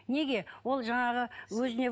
неге ол жаңағы өзіне